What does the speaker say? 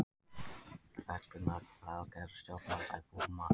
Fegrunaraðgerð stjórnvalda í Búrma